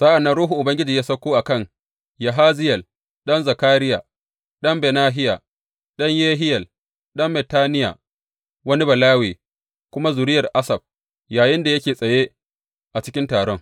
Sa’an nan Ruhun Ubangiji ya sauko a kan Yahaziyel ɗan Zakariya, ɗan Benahiya, ɗan Yehiyel, ɗan Mattaniya, wani Balawe kuma zuriyar Asaf, yayinda yake tsaye a cikin taron.